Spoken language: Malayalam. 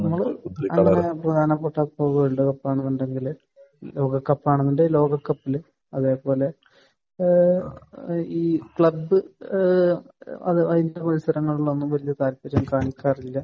നമ്മൾ അങ്ങനെ പ്രധാനപ്പെട്ട ഇപ്പോൾ വേൾഡ് കപ്പ് എന്നാണെന്നുണ്ടെങ്കിൽ ലോകകപ്പ് ആണെന്നുണ്ടെങ്കിൽ ലോകകപ്പിലും അതുപോലെ തന്നെ ഏഹ് ഈ ക്ലബ്ബ് ഏഹ് അത് അതിന്റെ മത്സരങ്ങളിലൊന്നും വലിയ താല്പര്യം കാണിക്കാറില്ല.